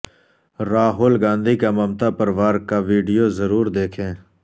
راہول گاندھی کا ممتا پر وار کا ویڈیو ضرور دیکھیں